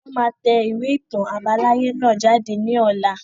Wọn máa tẹ ìwé ìtàn àbáláyé náà jáde ní ọ̀la